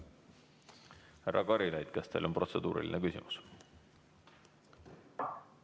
Härra Karilaid, kas teil on protseduuriline küsimus?